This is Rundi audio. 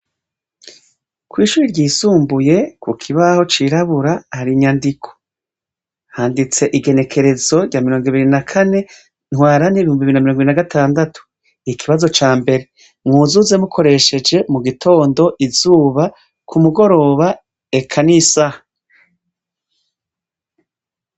Kw'ishure ry'isumbuye ku kibaho cirabura hari inyandiko. Handitse igenekerezo rya mirong'ibiri na kane ntwarante ibihumbi bibiri na mirong'ibiri na gatandatu. Ikibazo ca mbere. Mwuzuze mukoresheje mu gitondo, izuba, ku mugoroba eka n'isaha.